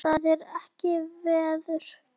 Það er ekkert veður.